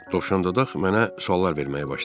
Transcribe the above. Dovşandodaq mənə suallar verməyə başladı.